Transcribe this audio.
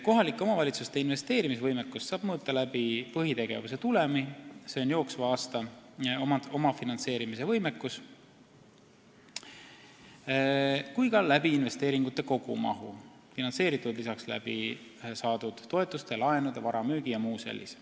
" Kohalike omavalitsuste investeerimisvõimekust saab mõõta nii põhitegevuse tulemi kui ka investeeringute kogumahu kaudu .